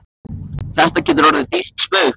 Þetta getur orðið ykkur dýrt spaug, get ég sagt ykkur!